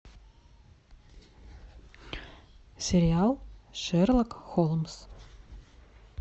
сериал шерлок холмс